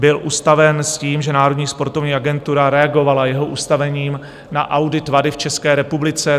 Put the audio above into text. Byl ustaven s tím, že Národní sportovní agentura reagovala jeho ustavením na audit WADA v České republice.